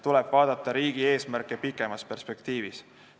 Tuleb vaadata riigi eesmärke pikemas perspektiivis.